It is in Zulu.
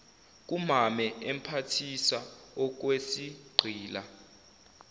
kumame emphathisa okwesigqila